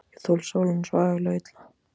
Ég þoli sólina svo agalega illa.